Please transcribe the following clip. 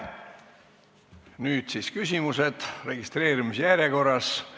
Nüüd siis küsimused registreerimise järjekorras.